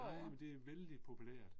Nej men det er vældig populært